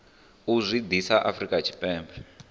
u zwi ḓisa afrika tshipembe